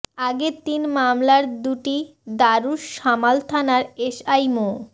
আগের তিন মামলার দুটি দারুস সালাম থানার এসআই মো